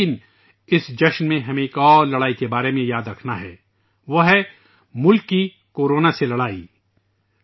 لیکن اس تہوار میں ہمیں ایک اورجنگ کے بارے میں یاد رکھنا ہے وہ ہے کورونا کے خلاف ملک کی جنگ